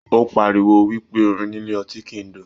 O páríwó wípé orin nílé ọtí kìí dùn.